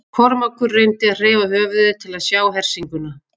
Kormákur reyndi að hreyfa höfuðið til að sjá hersinguna.